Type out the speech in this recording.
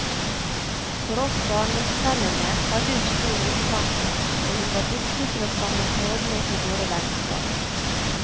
For oss barndomsvennene hadde hun stor omtanke, og hun var dyktig til å samle trådene i våre vennskap.